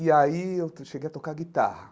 E aí eu cheguei a tocar guitarra.